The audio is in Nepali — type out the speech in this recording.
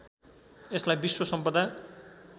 यसलाई विश्व सम्पदा